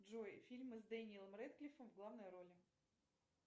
джой фильмы с дэниелом рэдклиффом в главной роли